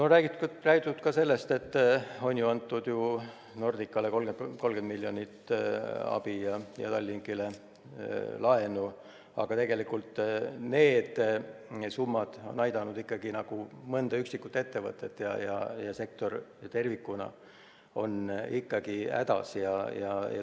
On räägitud ka sellest, et Nordicale on antud 30 miljonit eurot abi ja Tallinkile laenu, aga need summad on aidanud ainult mõnda üksikut ettevõtet ja sektor tervikuna on ikkagi hädas.